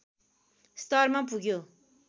स्तरमा पुग्यो